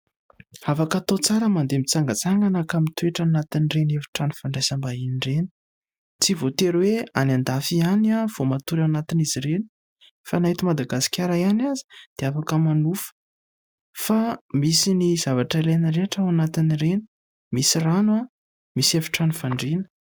Afaka hatao tsara ny mandeha mitsangatsangana ka mitoetra ao anatin'ireny efitrano fandraisam-bahiny ireny. Tsy voatery hoe any an-dafy ihany vao matory ao anatin'izy ireny fa na eto Madagasikara ihany aza dia afaka manofa fa misy ny zavatra ilaina rehetra ao anatin'ireny, misy rano, misy efitrano fandriana.